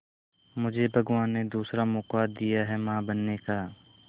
मुझे भगवान ने दूसरा मौका दिया है मां बनने का